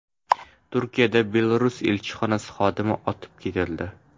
Turkiyada Belarus elchixonasi xodimi otib ketildi.